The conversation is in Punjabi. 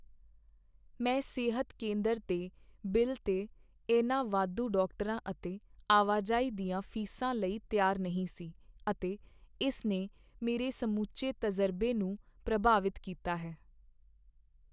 ਮੈਂ ਸਿਹਤ ਕੇਂਦਰ ਦੇ ਬਿੱਲ 'ਤੇ ਇਹਨਾਂ ਵਾਧੂ ਡਾਕਟਰਾਂ ਅਤੇ ਆਵਾਜਾਈ ਦੀਆਂ ਫੀਸਾਂ ਲਈ ਤਿਆਰ ਨਹੀਂ ਸੀ, ਅਤੇ ਇਸ ਨੇ ਮੇਰੇ ਸਮੁੱਚੇ ਤਜ਼ਰਬੇ ਨੂੰ ਪ੍ਰਭਾਵਿਤ ਕੀਤਾ ਹੈ।